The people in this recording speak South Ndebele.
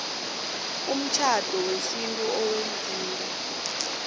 umtjhado wesintu owenziwe